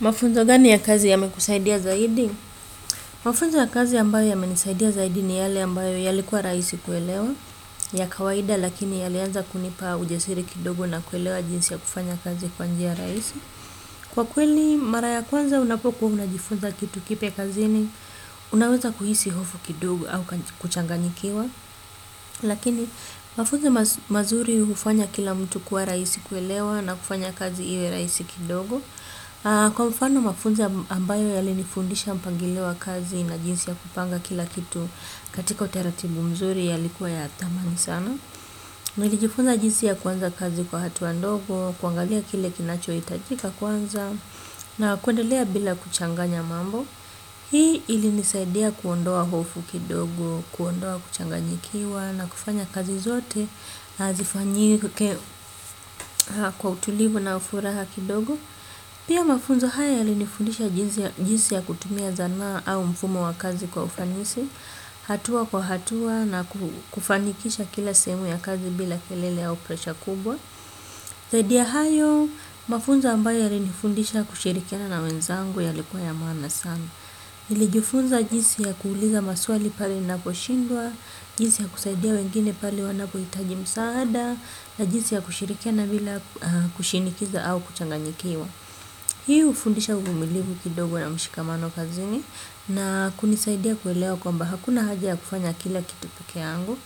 Mafunzo gani ya kazi yame kusaidia zaidi? Mafunzo ya kazi ambayo yame nisaidia zaidi ni yale ambayo yalikuwa rahisi kuelewa ya kawaida lakini yalianza kunipa ujasiri kidogo na kuelewa jinsi ya kufanya kazi kwanjia rahisi. Kwa kweli mara ya kwanza unapokuwa unajifunza kitu kipya kazini unaweza kuhisi hofu kidogo au kuchanganyikiwa. Lakini mafunzo mazuri hufanya kila mtu kua raisi kuelewa na kufanya kazi iwe rahisi kidogo. Kwa mfano mafunzo ambayo yali nifundisha mpangilio wa kazi na jinsi ya kupanga kila kitu katika utaratibu mzuri yalikuwa ya thamani sana. Nilijifunza jinsi ya kwanza kazi kwa hatua ndogo, kuangalia kile kinacho hitajika kwanza na kuendelea bila kuchanganya mambo. Hii ili nisaidia kuondoa hofu kidogo, kuondoa kuchanganyikiwa na kufanya kazi zote na zifanyike kwa utulivu na furaha kidogo. Pia mafunzo haya yalinifundisha jinsi ya kutumia zana au mfumo wa kazi kwa ufanisi, hatua kwa hatua na kufanikisha kila sehemu ya kazi bila kelele au presha kubwa. Zaidi ya hayo, mafunzo ambayo yalinifundisha kushirikiana na wenzangu yalikuwa ya maana sana. Nilijifunza jinsi ya kuuliza maswali pale naposhindwa, jinsi ya kusaidia wengine pali wanapohitaji msaada, na jinsi ya kushirikiana bila kushinikiza au kuchanganyikiwa. Hiu ufundisha umilivu kidogo na mshikamano kazini na kunisaidia kuelewa kwamba hakuna haja ya kufanya kila kitu pekee yangu.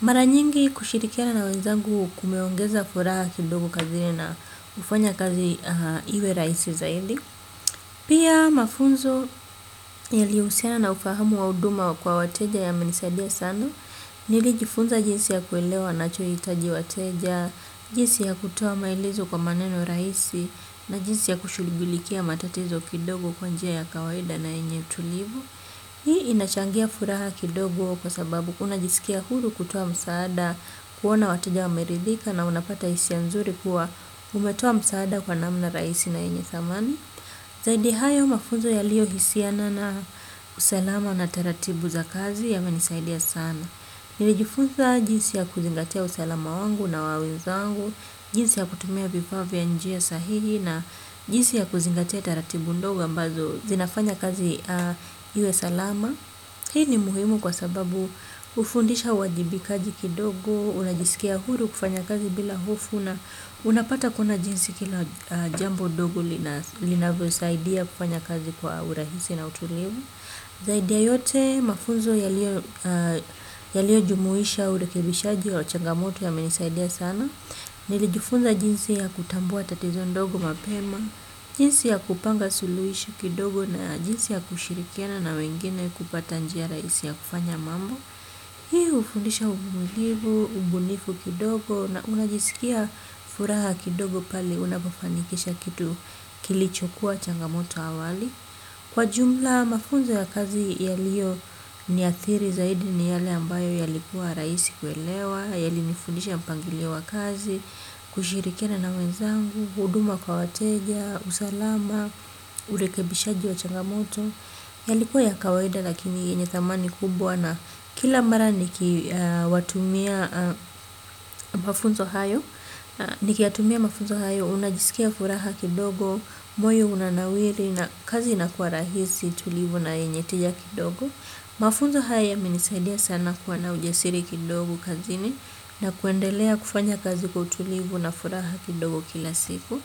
Mara nyingi kushirikiana na wenzangu kumeongeza furaha kidogo kazini na kufanya kazi iwe rahisi zaidi. Pia mafunzo yali husiana na ufahamu wa huduma kwa wateja yamenisaidia sana. Nilijifunza jinsi ya kuelewa wanachohitaji wateja, jinsi ya kutoa maelezo kwa maneno rahisi na jinsi ya kushuligulikia matatizo kidogo kwa njia ya kawaida na yenye tulivu. Hii inachangia furaha kidogo kwa sababu unajisikia huru kutoa msaada kuona wateja wameridhika na unapata hisia ya nzuri kuwa umetoa msaada kwa namna rahisi na yenye thamani. Zaidi hayo mafunzo yaliyo hisiana na usalama na teratibu za kazi yamenisaidia sana. Nilijifunza jinsi ya kuzingatia usalama wangu na wawenzangu, jinsi ya kutumia vifa vya njia sahili na jinsi ya kuzingatia taratibu ndogo ambazo zinafanya kazi iwe salama. Hii ni muhimu kwa sababu hufundisha uwajibikaji kidogo, unajisikia huru kufanya kazi bila hofu na unapata kuna jinsi kila jambo dogu linavyo saidia kufanya kazi kwa urahisi na utulivu. Zaidi ya yote mafunzo yalio jumuisha urekibishaji wa changamoto yamenisaidia sana. Nilijifunza jinsi ya kutambua tatizo ndogo mapema, jinsi ya kupanga suluhisho kidogo na jinsi ya kushirikiana na wengine kupata njia raisi ya kufanya mambo. Hii hufundisha uvumilivu, ubunifu kidogo na unajisikia furaha kidogo pali unapofanikisha kitu kilichokuwa changamoto awali. Kwa jumla mafunzo ya kazi yaliyo niathiri zaidi ni yale ambayo yalikuwa rahisi kuelewa, yalinifundisha mpangilio wa kazi, kushirikina na wenzangu, huduma kwa wateja, usalama, urekibishaji wa changamoto, yalikuwa ya kawaida lakini yenye thamani kubwa na kila mara niki watumia mafunzo hayo, niki yatumia mafunzo hayo, unajisikia furaha kidogo, moyo unanawiri, na kazi inakuwa rahisi, tulivu na yenye tija kidogo mafunzo haya yamenisaidia sana kuwa na ujasiri kidogo kazini na kuendelea kufanya kazi kwa utulivu na furaha kidogo kila siku.